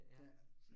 Ja